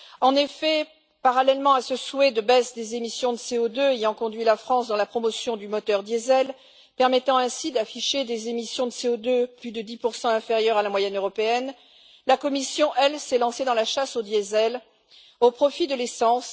En effet, parallèlement à ce souhait de baisse des émissions de CO2 ayant conduit la France à promouvoir le moteur diesel, ce qui lui permet d'afficher des émissions de CO2 plus de 10 inférieure à la moyenne européenne, la Commission, elle, s'est lancée dans la chasse au diesel au profit de l'essence.